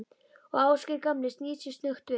Og Ásgeir gamli snýr sér snöggt við.